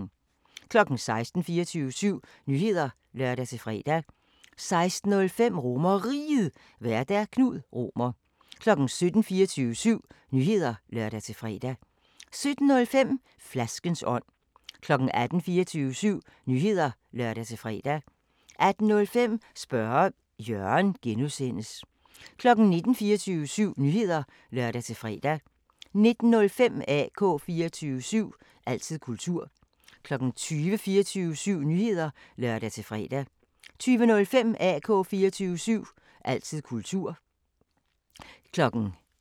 16:00: 24syv Nyheder (lør-fre) 16:05: RomerRiget, Vært: Knud Romer 17:00: 24syv Nyheder (lør-fre) 17:05: Flaskens ånd 18:00: 24syv Nyheder (lør-fre) 18:05: Spørge Jørgen (G) 19:00: 24syv Nyheder (lør-fre) 19:05: AK 24syv – altid kultur 20:00: 24syv Nyheder (lør-fre) 20:05: AK 24syv – altid kultur